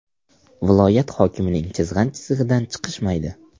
Viloyat hokimining chizgan chizig‘idan chiqishmaydi.